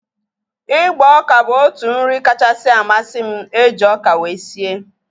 Ịgba oka bụ otu nri kachasị amasị m eji ọka wee sie